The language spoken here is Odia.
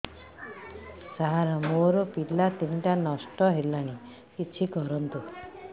ସାର ମୋର ପିଲା ତିନିଟା ନଷ୍ଟ ହେଲାଣି କିଛି କରନ୍ତୁ